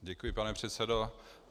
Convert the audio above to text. Děkuji, pane předsedo.